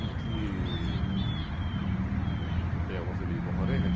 Em que... Tem alguma fedelha com a varenga?